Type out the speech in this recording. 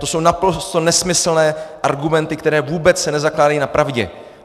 To jsou naprosto nesmyslné argumenty, které se vůbec nezakládají na pravdě.